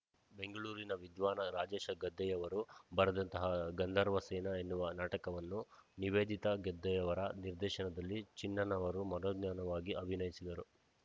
ಬೆಂಗಳೂರಿನ ವಿದ್ವಾನ ರಾಜೇಶ ಗದ್ದೆಯವರು ಬರೆದಂತಹ ಗಂಧರ್ವ ಸೇನ ಎನ್ನುವ ನಾಟಕವನ್ನು ನಿವೇದಿತಾ ಗದ್ದೆಯವರ ನಿರ್ದೇಶನದಲ್ಲಿ ಚಿಣ್ಣನವರು ಮನೋಜ್ಞವಾಗಿ ಅಭಿನಯಿಸಿದರು